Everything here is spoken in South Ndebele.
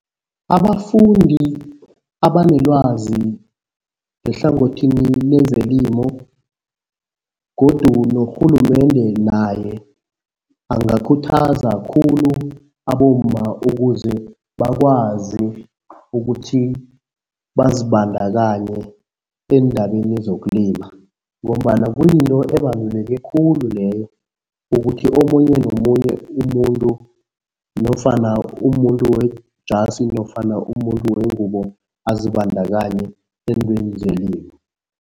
Abafundi abanelwazi ngehlangothini lezelimo godu norhulumende naye, angakhuthaza khulu abomma ukuze bakwazi ukuthi bazibandakanye eendabeni zokulima ngombana kuyinto ebaluleke khulu leyo ukuthi omunye nomunye umuntu nofana umuntu wejasi nofana umuntu wengubo, azibandakanye eentweni zelimo.